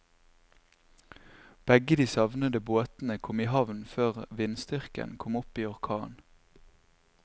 Begge de savnede båtene kom i havn før vindstyrken kom opp i orkan.